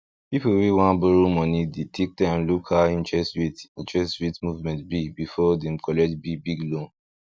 people wey wan borrow moni dey take time look how interest rate interest rate movement be before dem collect big big loan